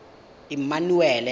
emmanuele